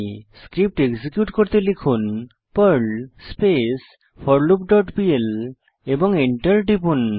script execute করতে লিখুন Perl space for loop dot P L এবং enter টিপুন